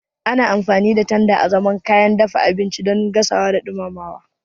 Ana amfani da tanda azaman kayan dafa abinci don gasawa da dumama.